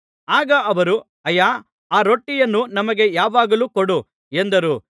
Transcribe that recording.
ಆಗ ಅವರು ಆಯ್ಯಾ ಆ ರೊಟ್ಟಿಯನ್ನು ನಮಗೆ ಯಾವಾಗಲೂ ಕೊಡು ಎಂದರು